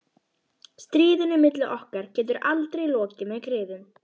Stríðinu milli okkar getur aldrei lokið með griðum.